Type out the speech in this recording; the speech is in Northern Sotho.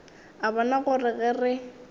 a bona gore ge re